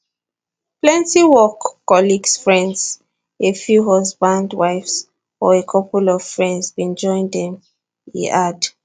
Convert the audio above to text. plenty work colleagues friends a few husbands wives or a couple of friends bin join dem e add